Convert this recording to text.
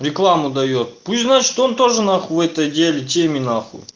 рекламу даёт пусть значит он тоже нахуй это делит теме нахуй